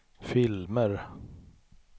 filmer